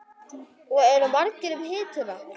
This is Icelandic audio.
Og eru margir um hituna?